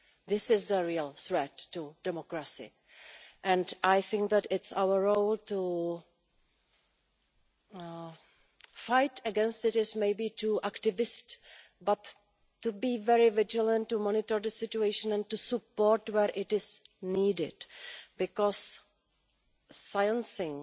This is the real threat to democracy, and I think that it is our role to fight against it is maybe too activist but to be very vigilant, to monitor the situation and to give support where it is needed, because silencing